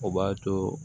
O b'a to